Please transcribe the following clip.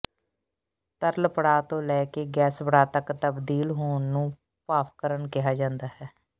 ਤਰਲ ਪੜਾਅ ਤੋਂ ਲੈ ਕੇ ਗੈਸ ਪੜਾਅ ਤੱਕ ਤਬਦੀਲ ਹੋਣ ਨੂੰ ਭਾਫਕਰਣ ਕਿਹਾ ਜਾਂਦਾ ਹੈ